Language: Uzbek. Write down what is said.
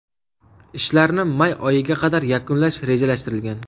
Ishlarni may oyiga qadar yakunlash rejalashtirilgan.